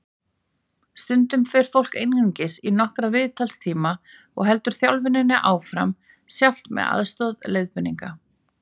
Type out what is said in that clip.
Stundum fer fólk einungis í nokkra viðtalstíma og heldur þjálfuninni áfram sjálft með aðstoð leiðbeininga.